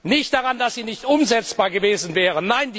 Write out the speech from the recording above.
Nicht daran, dass sie nicht umsetzbar gewesen wäre.